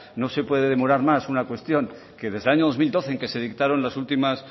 no se puede demorar más una cuestión que desde el año dos mil doce en que se dictaron las últimas